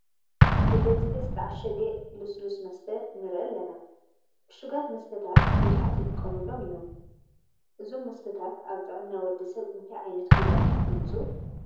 ብብዝሒ ዝተዓሸገ ልስሉስ መስተ ንርኢ ኣለና፡፡ ዑሽጋት መስተታት ብዙሓት ይጥቀሙሎም እዮም፡፡ እዞም መስተታት ኣብ ጥዕና ወዲ ሰብ እንታይ ዓይነት ጉድኣት የምፅኡ?